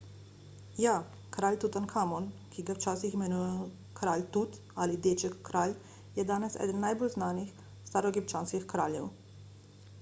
ja kralj tutankamon ki ga včasih imenujejo kralj tut ali deček kralj je danes eden najbolj znanih staroegipčanskih kraljev